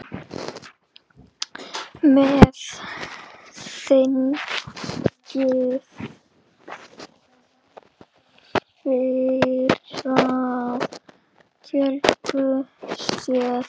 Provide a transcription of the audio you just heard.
Með þingum fýrar fjölga sér.